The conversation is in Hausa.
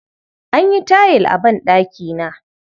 An yi tayil a banɗakina.